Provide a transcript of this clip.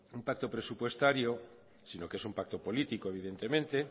un pacto presupuestario si no que es un pacto político evidentemente